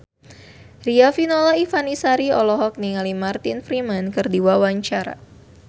Riafinola Ifani Sari olohok ningali Martin Freeman keur diwawancara